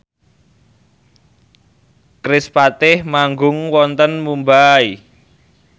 kerispatih manggung wonten Mumbai